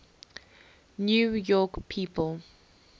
new york people